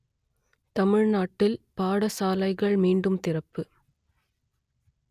தமிழ்நாட்டில் பாடசாலைகள் மீண்டும் திறப்பு